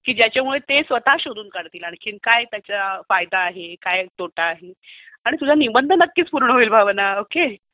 की ज्याने ते स्वतःहून शोधून काढतील की आणखी काय त्याचा फायदा आहे, काय तोटा आहे आणि तुझा निबंध नक्कीच पूर्ण होईल भावना. ओके?